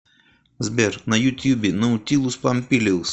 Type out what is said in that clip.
сбер на ютьюбе наутилус помпилиус